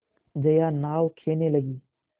जया नाव खेने लगी